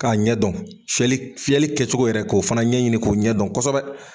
K'a ɲɛ dɔn. Fiyɛli fiyɛli kɛcogo yɛrɛ k'o fana ɲɛ ɲini k'o ɲɛ dɔn kosɛbɛ.